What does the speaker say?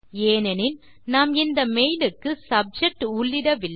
ஏனெனில் நாம் இந்த மெயில் க்கு சப்ஜெக்ட் உள்ளிடவில்லை